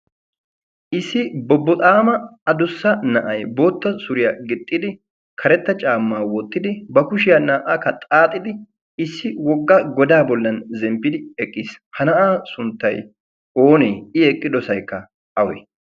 issi bobboxaama a dussa na'ay bootta suriyaa gixxidi karetta caammaa wottidi ba kushiyaa naa''aakka xaaxidi issi wogga godaa bollan zemppidi eqqiis ha na'aa sunttay oonee i eqqidosaykka awe